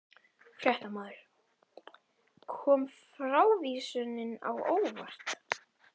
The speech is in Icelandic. Fréttamaður: Kom frávísunin á óvart?